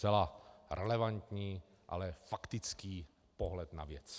Zcela relevantní, ale faktický pohled na věc.